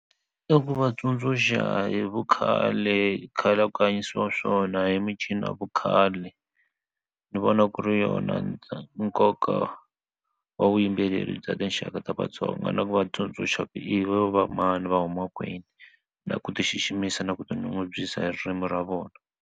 I ku va tsundzuxa hi vukhale khale ku hanyisiwa swona hi ya vukhale ni vona ku ri yona nkoka wa vuyimbeleri bya tinxaka ta Vatsonga na ku vatsundzuxa i va mani va huma kwini na ku ti xiximisa na ku tinyungubyisa hi ririmi ra vona.